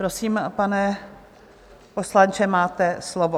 Prosím, pane poslanče, máte slovo.